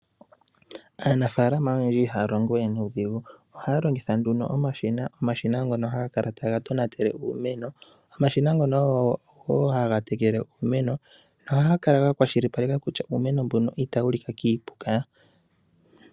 Aanafaalama oyendji ihaya longo we nuudhigu, ohaya longitha nduno omashina ngono haga kala taga tonatele uumeno. Omashina ngono ogo wo haga tekele uumeno, no haga ka ga kwashilipaleke kutya uumeno mbono ita wu lika kiipuka.